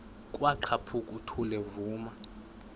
kwaqhaphuk uthuli evuma